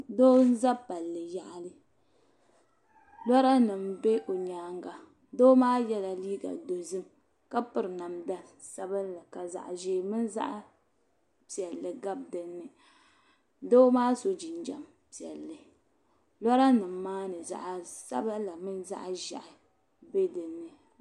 Doo n za palli yaɣili lɔra nim bɛ o nyaanga doo maa yela liiga dozim ka piri namda sabinli ka zaɣi ʒee mini zaɣi piɛlli gabi din ni doo maa so jinjam piɛlli lɔra nim maa ni zaɣi sabila mini zaɣi ʒɛhi bɛ din ni.